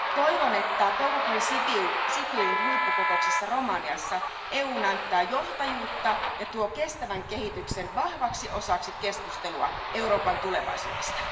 Toivon, että toukokuun Sibiun huippukokouksessa Romaniassa EU näyttää johtajuutta ja tuo kestävän kehityksen vahvaksi osaksi keskustelua Euroopan tulevaisuudesta.